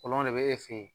Kolon de bɛ e fɛ yen